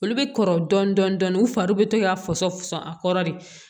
Olu bɛ kɔrɔ dɔɔnin dɔɔnin u fari bɛ to ka fasɔ fɔ a kɔrɔ de